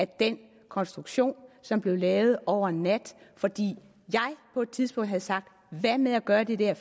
den konstruktion som blev lavet over en nat fordi jeg på et tidspunkt havde sagt hvad med at gøre det der